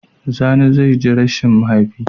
Sani zai ji rashin mahaifi